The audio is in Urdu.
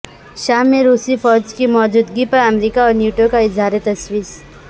شام میں روسی فوج کی موجودگی پر امریکہ اور نیٹو کا اظہار تشویش